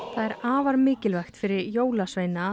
það er afar mikilvægt fyrir jólasveina